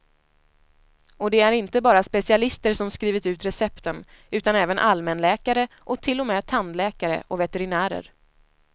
Och det är inte bara specialister som skrivit ut recepten, utan även allmänläkare och till och med tandläkare och veterinärer.